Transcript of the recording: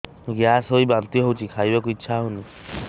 gas ହୋଇ ବାନ୍ତି ହଉଛି ଖାଇବାକୁ ଇଚ୍ଛା ହଉନି